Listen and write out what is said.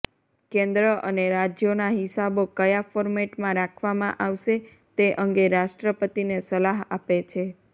કેન્દ્ર અને રાજ્યોના હિસાબો કયા ફોર્મેટમાં રાખવામાં આવશે તે અંગે રાષ્ટ્રપતિને સલાહ આપે છે